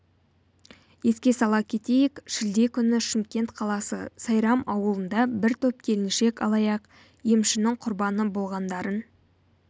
еске сала кетейік шілде күні шымкент қаласы сайрам ауылында бір топ келіншек алаяқ емшінің құрбаны болғандарын